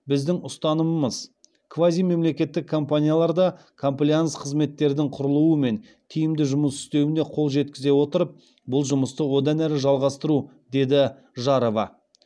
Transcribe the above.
біздің ұстанымымыз квазимемлекеттік компанияларда комплаенс қызметтердің құрылуы мен тиімді жұмыс істеуіне қол жеткізе отырып бұл жұмысты одан әрі жалғастыру деді жарова